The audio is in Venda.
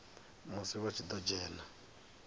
musi vha tshi ḓo dzhena